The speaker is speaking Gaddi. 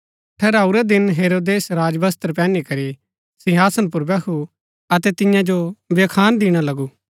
ठहराऊरै दिन हेरोदेस राजवस्त्र पैहनी करी सिंहासन पुर बैहु अतै तियां जो व्याख्यान दिणा लगु